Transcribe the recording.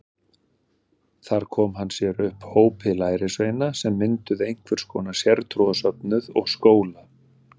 Þar kom hann sér upp hópi lærisveina sem mynduðu einhvers konar sértrúarsöfnuð og skóla.